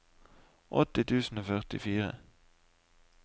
åtti tusen og førtifire